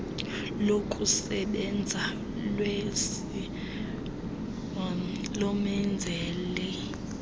lokusebenza lwecbnrm lomenzeli